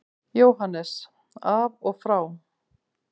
JÓHANNES: Af og frá!